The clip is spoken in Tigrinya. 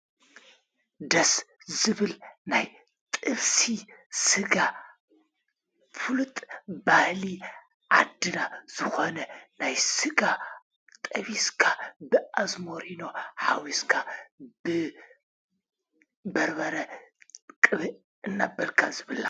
ደስ ዝብል ናይ ጥብሲ ሥጋ ፍሉጥ ባህሊ ዓድና ዝኾነ ናይ ሥጋ ጠቢስካ ብኣዘሞሪ ኖ ሓዊስካ ብበርበረ ቕብእ እናበልካ ዝብላዕ እዩ።